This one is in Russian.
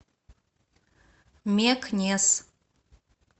мекнес